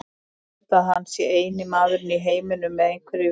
Ég held að hann sé eini maðurinn í heiminum með einhverju viti.